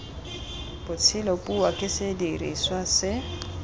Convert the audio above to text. botshelo puo ke sediriswa se